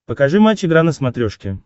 покажи матч игра на смотрешке